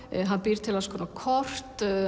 hann býr til alls konar kort